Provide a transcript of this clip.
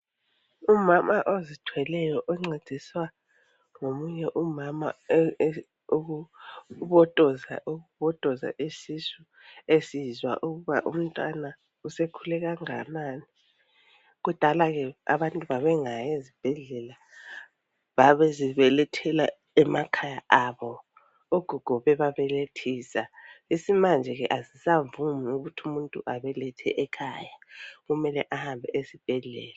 Umama ozithweleyo oncediswa ngomunye umama ukubotoza isisu esizwa ukuba umntwana sekhule kanganani, kudala ke abantu babengayi esibhedlela babezibelethela emakhaya ogogo bebabelethisa, isimanje kasisavumi ukuthi umuntu abelethele ekhaya kumele ahambe esibhedlela.